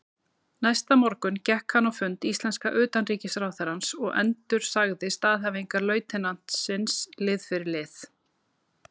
Næsta morgun gekk hann á fund íslenska utanríkisráðherrans og endursagði staðhæfingar lautinantsins lið fyrir lið.